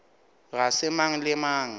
ga se mang le mang